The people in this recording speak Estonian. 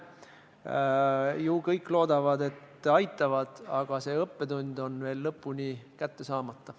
Kõik loodavad ilmselt, et aitavad, aga see õppetund on veel lõpuni kätte saamata.